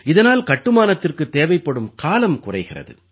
இதனால் கட்டுமானத்திற்குத் தேவைப்படும் காலம் குறைகிறது